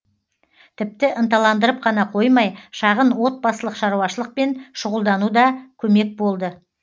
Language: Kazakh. тіпті ынталандырып қана қоймай шағын отбасылық шаруашылықпен шұғылдануда көмек болды